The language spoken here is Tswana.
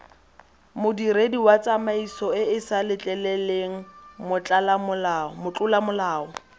modiredi wa tsamaisoeesa letleleleng motlolamolao